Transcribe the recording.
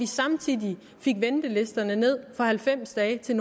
samtidig fik ventelisterne ned fra halvfems dage til